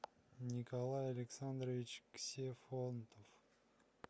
николай александрович ксефонтов